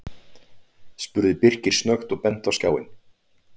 spurði Birkir snöggt og benti á skjáinn.